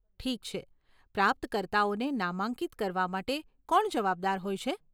ઠીક છે, પ્રાપ્તકર્તાઓને નામાંકિત કરવા માટે કોણ જવાબદાર હોય છે?